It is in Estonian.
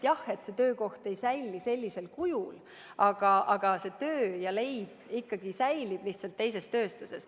Jah, see töökoht ei säili sellisel kujul, aga töö ja leib ikkagi jäävad, lihtsalt teises tööstuses.